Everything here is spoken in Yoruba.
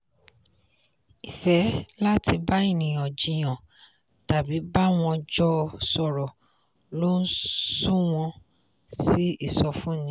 ifẹ́ láti bá ènìyàn jiyàn tàbí bá wọ́n jọ sọ̀rọ̀ ló ń sún wọ́n sí ìsọfúnni.